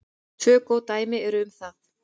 Tvö góð dæmi eru um það.